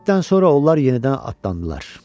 Bir müddətdən sonra onlar yenidən atlandılar.